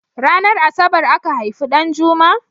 Ranar asabar aka haifi Ɗanjuma?